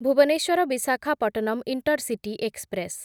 Bhubaneswar Visakhapatnam intercity express